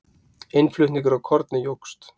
innflutningur á korni jókst